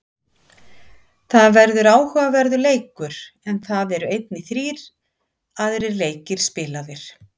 Það verður áhugaverður leikur, en það eru einnig þrír aðrir leikir spilaðir.